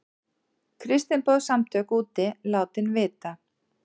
Kristniboðssamtök úti látin vita